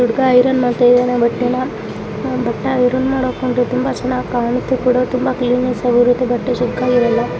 ಹುಡುಗ ಐರನ್ ಮಾಡ್ತಾ ಇದ್ದಾನೆ ಬಟ್ಟೆನ ಬಟ್ಟೆ ಐರನ್ ಮಾಡಿ ಹಾಕೊಂಡ್ರೆ ತುಂಬಾ ಚೆನ್ನಾಗಿರುತ್ತೆ ಬಟ್ಟೆ ಸುಕ್ಕಾಗಿ ಇರಲ್ಲ .